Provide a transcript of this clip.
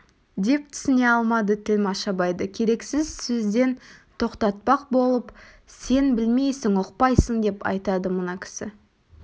деп түсіне алмады тілмәш абайды керексіз сөзден тоқтатпақ болып сен білмейсің ұқпайсың деп айтады мына кісі